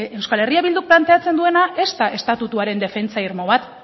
eh bilduk planteatzen duena ez da estatutuaren defentsa irmo bat